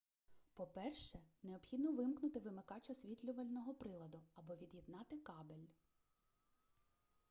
по-перше необхідно вимкнути вимикач освітлювального приладу або від'єднати кабель